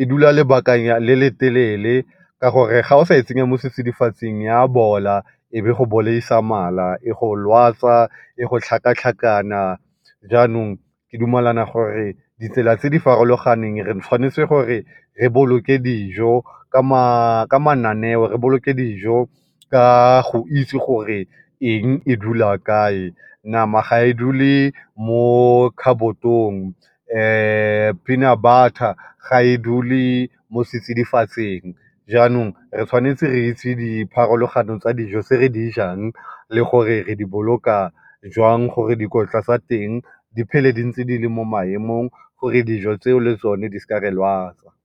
e dula lebaka le le telele ka gore ga o sa e tsenya mo setsidifatsing e a bola e be e go bolaisa mala, e go lwatsa, e go tlhakatlhakana jaanong ke dumalana gore ditsela tse di farologaneng re tshwanetse gore re boloke dijo ka mananeo re boloke dijo ka go itse gore eng e dula kae. Nama ga e dule mo khabotong, peanut butter ga e dule mo setsidifatsing jaanong re tshwanetse re itse dipharologano tsa dijo tse re di jang le gore re di boloka jang gore dikotla tsa teng di phele di ntse di le mo maemong gore dijo tsa teng di seke tsa re lwatsa.